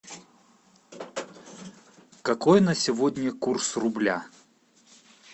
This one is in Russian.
какой на сегодня курс рубля